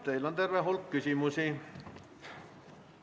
Teile on terve hulk küsimusi.